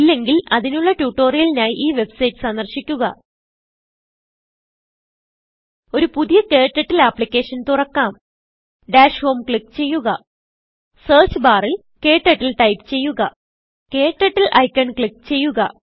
ഇല്ലെങ്കിൽ അതിനുള്ള ട്യൂട്ടോറിയലിനായി ഈ വെബ്സൈറ്റ് സന്ദർശിക്കുക ഒരു പുതിയ ക്ടർട്ടിൽ ആപ്ലിക്കേഷൻ തുറക്കാം ഡാഷ് homeക്ലിക്ക് ചെയ്യുക സെർച്ച് ബാറിൽ KTurtleടൈപ്പ് ചെയ്യുക KTurtleഐക്കൺ ക്ലിക്ക് ചെയ്യുക